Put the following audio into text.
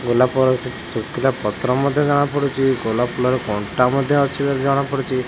ଗୋଲାପର କିଛି ଶୁଖିଲା ପତ୍ର ମଧ୍ୟ ଜଣା ପଢ଼ୁଚି ଗୋଲାପ ଫୁଲର କଣ୍ଟ ମଧ୍ୟ ଅଛି ବୋଲି ଜଣା ପଡ଼ୁଚି।